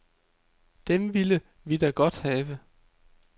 Dem ville vi da godt have.